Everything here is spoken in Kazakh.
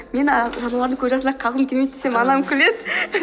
мен жануардың көз жасына қалғым келмейді десем анам күледі